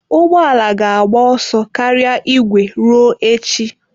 Ụgbọ ala ga-agba ọsọ karịa igwe ruo echi.